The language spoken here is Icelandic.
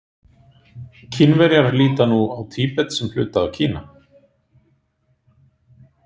Kínverjar líta nú á Tíbet sem hluta af Kína.